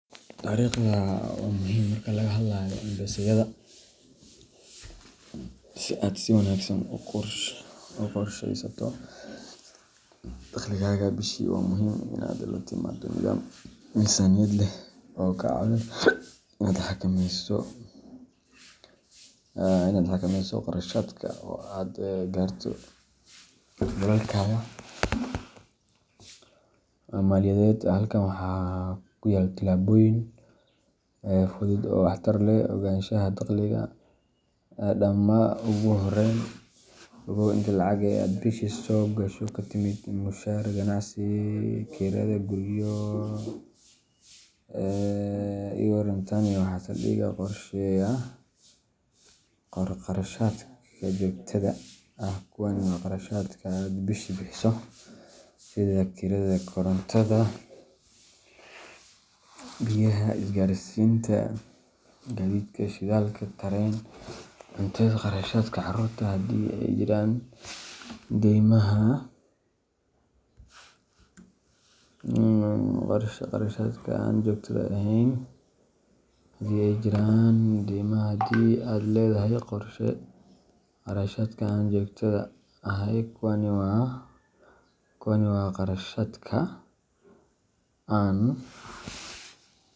Tarikhda waa muhim marka laga hadlayo mpesayada. Si aad si wanaagsan u qorsheysato dakhligaaga bishii, waa muhiim inaad la timaado nidaam miisaaniyad leh oo kaa caawinaya inaad xakameyso kharashaadka, kaydsato, oo aad gaarto yoolalkaaga maaliyadeed. Halkan waxaa ku yaal talaabooyin fudud oo waxtar leh: Ogaanshaha Dakhliga Dhammaa Ugu horreyn, ogow inta lacag ah ee aad bishii soo gasho ka timid mushaar, ganacsi, kirada guryo, iwaran Tani waa saldhigga qorshahaaga. Qor Kharashaadka Joogtada ah Kuwani waa kharashaadka aad bishiiba bixiso, sida:Kirada guriga Korontada, biyaha, isgaarsiinta Gaadiidka shidaalka, tareen, .Cuntada Kharashaadka carruurta haddii ay jiraan Deymaha haddii aad leedahay Qorshee Kharashaadka Aan Joogtada ahay Kuwani waa kharashaadka aan.